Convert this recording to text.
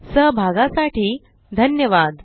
सहभागासाठी धन्यवाद